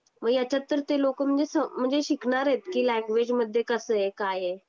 मग याच्यात तर ते लोक म्हणजे शिकणार आहे कि लँग्वेज मध्ये कस आहे काय आहे?